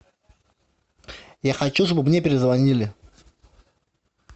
я хочу чтобы мне перезвонили